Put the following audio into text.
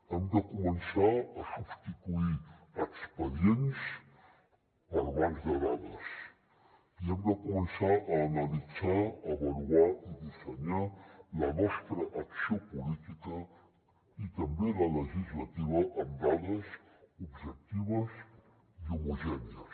hem de començar a substituir expedients per bancs de dades i hem de començar a analitzar avaluar i dissenyar la nostra acció política i també la legislativa amb dades objectives i homogènies